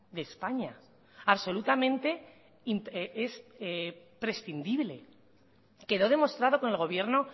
de españa absolutamente prescindible quedó demostrado con el gobierno